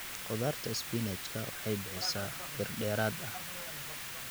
Khudaarta isbinaajka waxay bixisaa bir dheeraad ah.